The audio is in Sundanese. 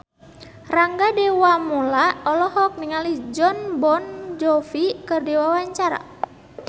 Rangga Dewamoela olohok ningali Jon Bon Jovi keur diwawancara